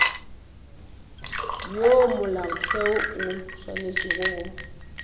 ya molaotheo o swanetše go